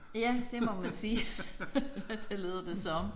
Ja det må man sige. Det lyder det som